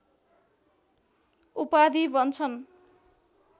उपाधि भन्छन्